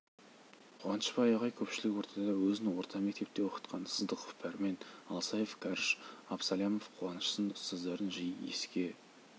қуанышбай ағай көпшілік ортада өзін орта мектепте оқытқан сыздықов пәрмен алсаев кәріш абсалямов қошан сынды ұстаздарын жиі еске